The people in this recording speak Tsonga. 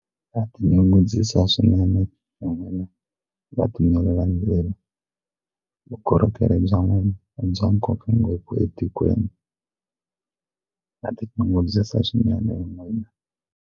Na tinyungubyisa swinene hi n'wina vatimeli va ndzilo vukorhokeri bya n'wina bya ngopfungopfu etikweni na tinyungubyisa swinene hi n'wina.